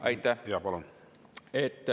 Aitäh!